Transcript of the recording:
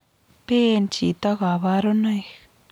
Pee chito kaparunoik